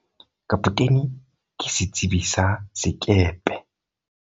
kapotene ke setsebi sa sekepe